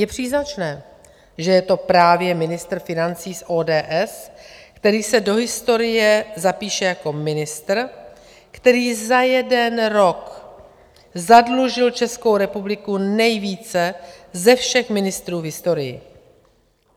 Je příznačné, že je to právě ministr financí z ODS, který se do historie zapíše jako ministr, který za jeden rok zadlužil Českou republiku nejvíce ze všech ministrů v historii.